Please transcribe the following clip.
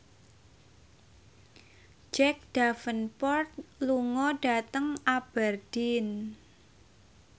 Jack Davenport lunga dhateng Aberdeen